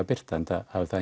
birta enda hafði það